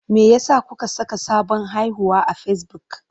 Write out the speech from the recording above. Me yasa kuka saka sabon haihuwa akan Facebook?